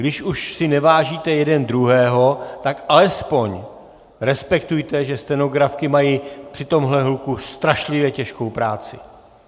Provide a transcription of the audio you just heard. Když už si nevážíte jeden druhého, tak alespoň respektujte, že stenografky mají při tomhle hluku strašlivě těžkou práci.